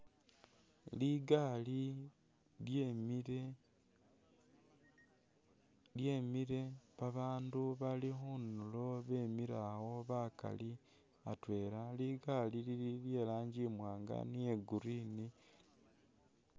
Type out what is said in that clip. Ligali lyemile lyemile babandu bali khundulo bemile awo bakali atwela likali lili lyelangi imwanga ni iye green